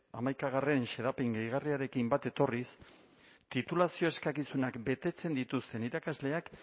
hamaikagarrena xedapen gehigarriarekin bat etorriz titulazio eskakizunak betetzen dituzten irakasleak